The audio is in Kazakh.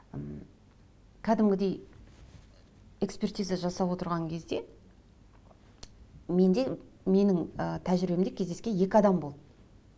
м кәдімгідей экспертиза жасап отырған кезде менде менің ы тәжірибемде кездескен екі адам болды